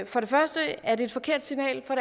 for det første er det et forkert signal og